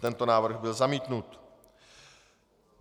Tento návrh byl zamítnut.